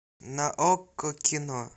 на окко кино